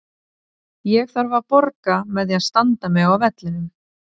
Ég þarf að borga með því að standa mig á vellinum.